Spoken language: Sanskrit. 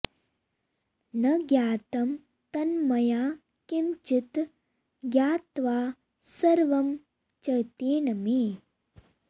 न ज्ञातं तन्मया किम्चित् ज्ञात्वा सर्वं च तेन मे